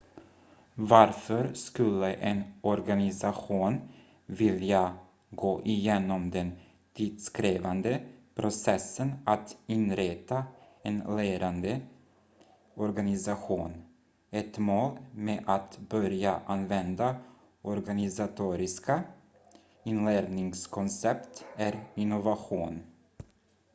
varför skulle en organisation vilja gå igenom den tidskrävande processen att inrätta en lärande organisation ett mål med att börja använda organisatoriska inlärningskoncept är innovation